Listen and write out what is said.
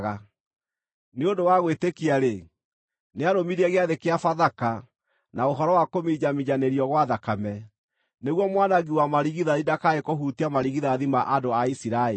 Nĩ ũndũ wa gwĩtĩkia-rĩ, nĩarũmirie gĩathĩ kĩa Bathaka na ũhoro wa kũminjaminjanĩrio gwa thakame, nĩguo mwanangi wa marigithathi ndakae kũhutia marigithathi ma andũ a Isiraeli.